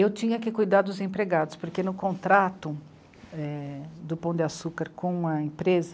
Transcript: Eu tinha que cuidar dos empregados, porque no contrato, é... do Pão de Açúcar com a empresa,